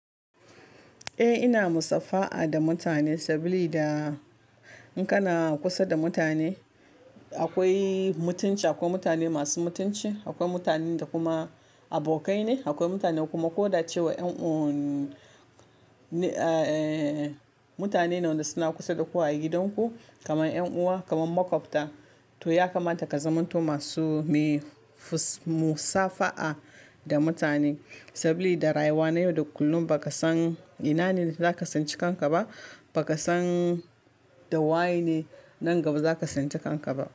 Eh ina musafaha da mutane saboda in kana kusa da mutane akwai mutunci akwai mutane masu mutunci akwai mutanen da kuma abokai ne akwai mutane kuma ko da cewa en'uwan eh mutane ne wa da suna kusa da ku a gidan ku kamar yan uwa kamar makwabta to ya kamata ka zamo to masu muyi musafaha da mutane saboda rayuwa na yau da kullum ba ka san ina ne za ka san ci kanka ba ba ka san da waye ne nan gaba za ka san ci kanka ba.